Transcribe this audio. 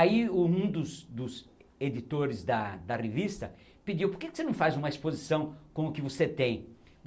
Aí um um dos dos editores da da revista pediu, por que você não faz uma exposição com o que você tem?